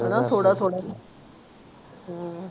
ਹਨਾ ਥੋੜ੍ਹਾ ਥੋੜ੍ਹਾ ਹਮ